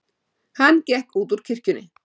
Hann gekk út úr kirkjunni.